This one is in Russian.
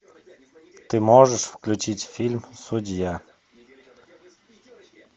ты можешь включить фильм судья